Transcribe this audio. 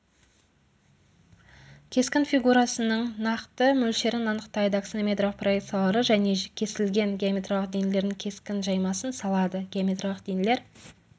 кескін фигурасының нақты мөлшерін анықтайды аксонометриялық проекцияларды және кесілген геометриялық денелердің кескін жаймасын салады геометриялық денелер